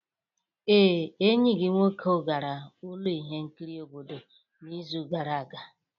Ee, enyi gị nwoke gara ụlọ ihe nkiri obodo n'izu gara aga.